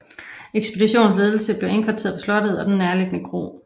Ekspeditionens ledelse blev indkvarteret på slottet og den nærliggende kro